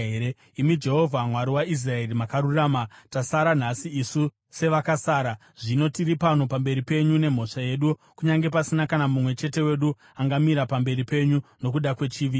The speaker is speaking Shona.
Imi Jehovha, Mwari waIsraeri, makarurama! Tasara nhasi isu sevakasara. Zvino tiri pano pamberi penyu nemhosva yedu, kunyange pasina kana mumwe chete wedu angamira pamberi penyu nokuda kwechivi ichi.”